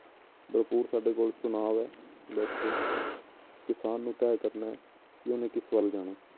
ਭਰਪੂਰ ਸਾਡੇ ਕੋਲ ਚੁਣਾਵ ਹੈ ਬਸ ਕਿਸਾਨ ਨੂੰ ਤੈਅ ਕਰਨਾ ਹੈ ਕਿ ਉਹਨੇ ਕਿਸ ਵੱਲ ਜਾਣਾ ਹੈ।